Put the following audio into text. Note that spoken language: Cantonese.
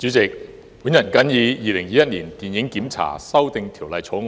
代理主席，我發言支持《2021年電影檢查條例草案》。